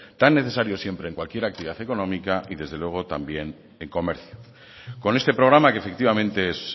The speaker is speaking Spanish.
tan necesario siempre en cualquier actividad económica y desde luego también en comercio con este programa que efectivamente es